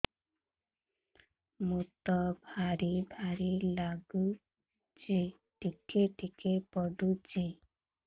ମୁତ ବାର୍ ବାର୍ ଲାଗୁଚି ଟିକେ ଟିକେ ପୁଡୁଚି